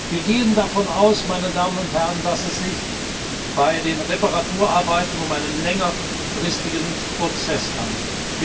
Wir gehen davon aus, meine Damen und Herren, dass es sich bei den Reparaturarbeiten um einen längerfristigen Prozess handelt.